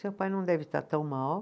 Seu pai não deve estar tão mal.